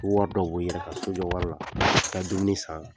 Wari dɔ bɔ i yɛrɛ ka sojɔ wari la ka dumuni san.